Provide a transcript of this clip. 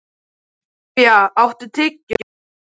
Svanhildur, spilaðu lag.